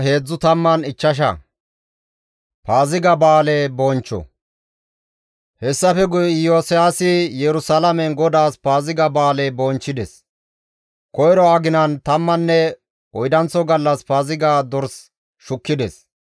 Hessafe guye Iyosiyaasi Yerusalaamen GODAAS Paaziga ba7aale bonchchides; koyro aginan tammanne oydanththo gallas Paaziga dorsa shukkides.